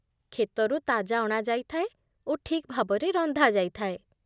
କ୍ଷେତରୁ ତାଜା ଅଣା ଯାଇଥାଏ ଓ ଠିକ୍ ଭାବରେ ରନ୍ଧାଯାଇଥାଏ।